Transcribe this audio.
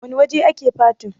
wane waje ake fatin?